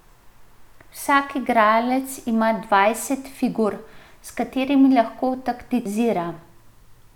Vsak igralec ima dvajset figur, s katerimi lahko taktizira.